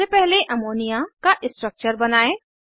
सबसे पहले अमोनिया का स्ट्रक्चर बनायें